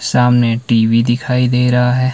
सामने टी_वी दिखाई दे रहा है।